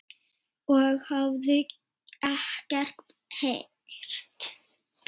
og hafði ekkert heyrt.